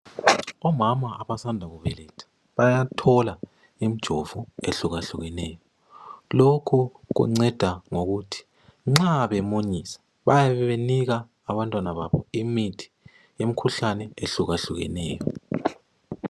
Omama abasanda kubeletha, bayathola imjovo ehlukahlukeneyo. Lokhu kunceda ngokuthi nxa bemunyisa, bayabe benika abantwana babo imithi, imkhuhlane, ehlukahlukeneyo.